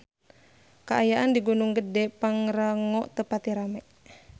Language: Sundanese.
Kaayaan di Gunung Gedhe Pangrango teu pati rame